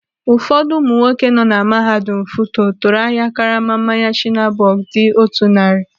Ụfọdụ ụmụ nwoke nọ na mahadum FUTO tụrụ ahịa karama mmanya shiner bock dị otú narị.